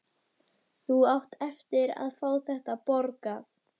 Þú átt eftir að fá þetta borgað!